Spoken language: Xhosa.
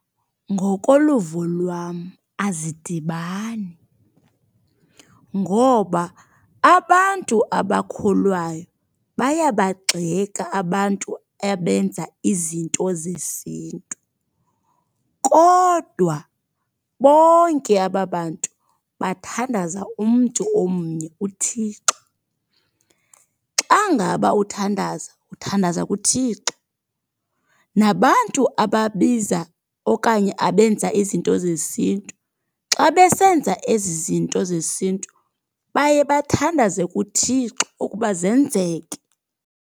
Ngokoluvo lwam azidibani. Ngoba abantu abakholwayo bayabagxeka abantu abenza izinto zesiNtu. Kodwa bonke aba bantu bathandaza umntu omnye, uThixo. Xa ngaba uthandaza, uthandaza kuThixo. Nabantu ababiza okanye abenza izinto zesiNtu, xa besenza ezi zinto zesintu baye bathandaze kuThixo ukuba zenzeke.